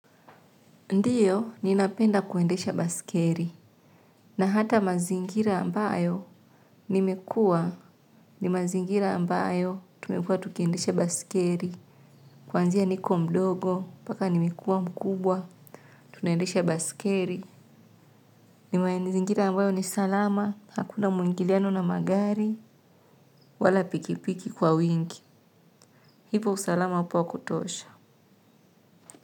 Ndio, ninapenda kuendesha baiskeri. Na hata mazingira ambayo nimekua. Ni mazingira ambayo tumekua tukiendesha baiskeri. Kwanzia niko mdogo, mpaka nimekuwa mkubwa, tunaendesha baskeri. Ni mazingira ambayo ni salama, hakuna mwingiliano na magari. Wala pikipiki kwa wingi. Ipo usalama hapo ya kutosha.